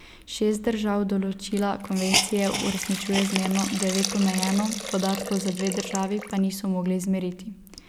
Šest držav določila konvencije uresničuje zmerno, devet omejeno, podatkov za dve državi pa niso mogli izmeriti.